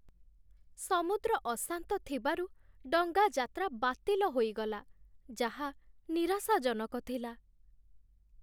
ସମୁଦ୍ର ଅଶାନ୍ତ ଥିବାରୁ ଡଙ୍ଗା ଯାତ୍ରା ବାତିଲ ହୋଇଗଲା, ଯାହା ନିରାଶାଜନକ ଥିଲା।